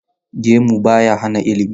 Gemu ba ya hana ilimi.